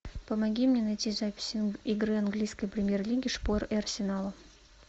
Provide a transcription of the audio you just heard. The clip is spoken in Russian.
помоги мне найти запись игры английской премьер лиги шпор и арсенала